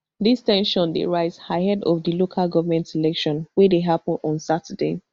dis ten sion dey rise ahead of di local government election we dey happun on saturday